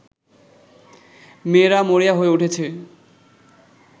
মেয়েরা মরিয়া হয়ে উঠেছে